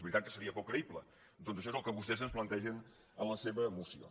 veritat que seria poc creïble doncs això és el que vostès ens plantegen en la seva moció